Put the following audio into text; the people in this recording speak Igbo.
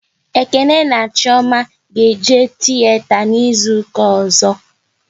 Ekene na Chioma ga-eje tiyeta n'izuka ọzọ